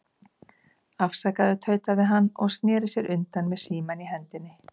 Afsakaðu, tautaði hann og sneri sér undan með símann í hendinni.